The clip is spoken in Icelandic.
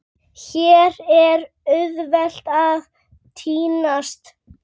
Hér er auðvelt að týnast.